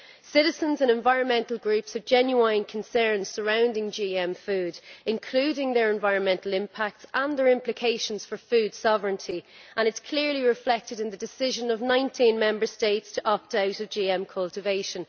Citizens and environmental groups have genuine concerns surrounding GM foods, including about their environmental impact and their implications for food sovereignty, and these are clearly reflected in the decision by 19 Member States to opt out of GM cultivation.